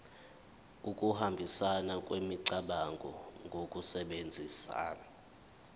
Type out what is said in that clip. ukuhambisana kwemicabango ngokusebenzisa